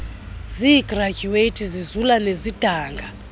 zigradyuwethi zizula nezidanga